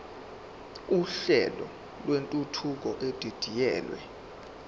uhlelo lwentuthuko edidiyelwe